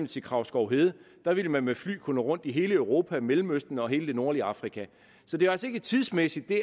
til kragsskovhede ville man med fly kunne nå rundt i hele europa mellemøsten og hele det nordlige afrika så det er altså ikke tidsmæssigt det